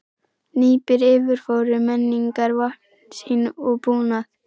Hnípnir yfirfóru mennirnir vopn sín og búnað.